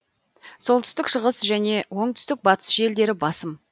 солтүстік шығыс және оңтүстік батыс желдері басым